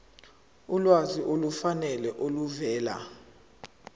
ulwazi olufanele oluvela